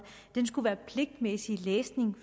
skulle være pligtlæsning